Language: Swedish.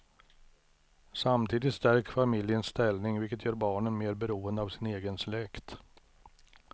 Samtidigt stärks familjens ställning vilket gör barnen mer beroende av sin egen släkt.